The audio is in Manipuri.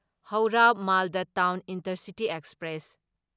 Howrah Malda town intercity express